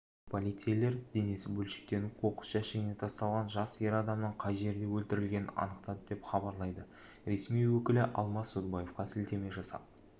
полицейлер денесі бөлшектеніп қоқыс жәшігіне тасталған жас ер адамның қай жерде өлтірілгенін анықтады деп хабарлайды ресми өкілі алмас садубаевқа сілтеме жасап